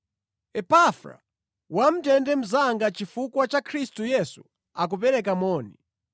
Epafra, wamʼndende mnzanga chifukwa cha Khristu Yesu akupereka moni.